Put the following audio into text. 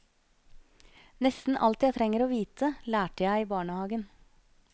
Nesten alt jeg trenger å vite, lærte jeg i barnehagen.